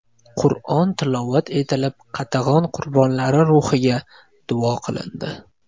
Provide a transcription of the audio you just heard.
Qur’on tilovat etilib, qatag‘on qurbonlari ruhiga duo qilindi.